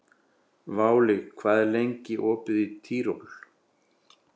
Váli, hvað er lengi opið í Tríó?